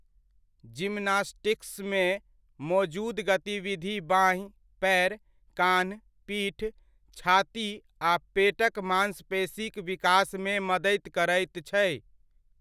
जिमनास्टिक्समे मोजूद गतिविधि बाँहि, पएर, कान्ह, पीठ, छाती आ पेटक मांसपेशीक विकासमे मदति करैत छै।